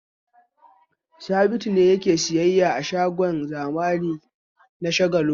Sabitu ne yake sayyayya a shagon zamani na Shagalinku.